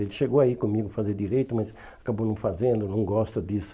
Ele chegou a ir comigo fazer direito, mas acabou não fazendo, não gosta disso.